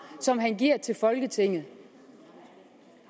som han giver til folketinget